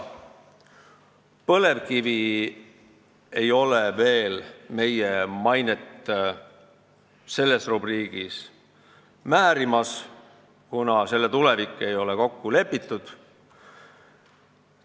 Põlevkivi ei määri veel meie mainet selles rubriigis, kuna selle tulevik ei ole kokku lepitud.